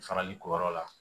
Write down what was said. Farali ko yɔrɔ la